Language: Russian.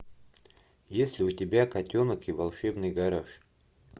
есть ли у тебя котенок и волшебный гараж